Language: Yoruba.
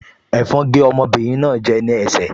Ẹ̀fọn gé ọmọbìnrin náà jẹ gan-an ní ẹsẹ̀